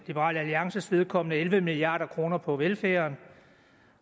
liberal alliances vedkommende at spare elleve milliard kroner på velfærden